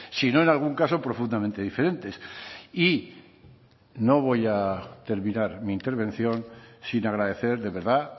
si no en algún caso profundamente diferentes y no voy a terminar mi intervención sin agradecer de verdad